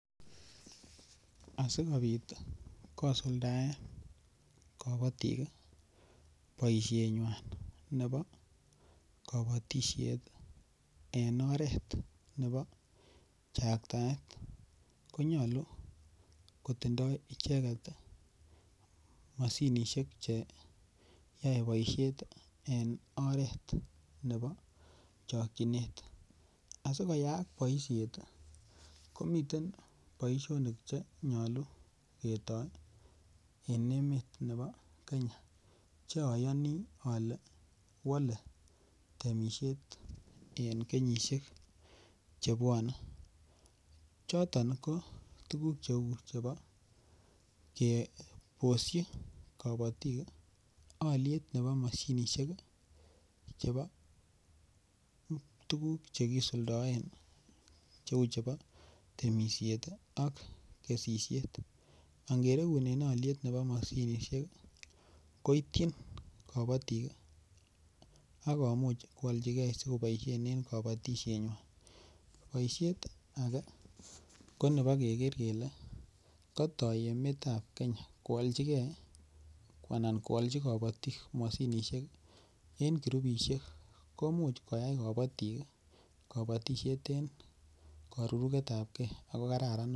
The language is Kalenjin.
Asi kobit kosuldaen kabatik boisienywan nebo kabatisiet en oret nebo chaktaet ko nyolu kotindoi icheget mashinisiek Che yoe boisiet en oret nebo chokyinet asi koyaak boisiet ko miten boisionik Che nyolu ketoi en emet nebo Kenya Che ayani ale wole temisiet en kenyisiek chebwone choton ko tuguk cheu chebo kebosyi kabatik alyet nebo mashinisiek chebo tuguk Che kisuldaen cheu chebo temisiet ak kesisiet angeregunen alyet nebo mashinisiek koityin kabatik ago koityi kabatik ak koalchigei si koboisien en kabatisienywan boisiet ko nebo keger kele katoi emetab Kenya koalchi kabatik mashinisiek en kirupisiek ko Imuch koyai kabatik kabatisiet en karuruget ab ge ako kararan noton